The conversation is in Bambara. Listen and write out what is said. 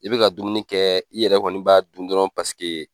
I be ka dumuni kɛ i yɛrɛ kɔni b'a dun dɔrɔn paseke